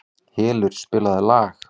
Hylur, spilaðu lag.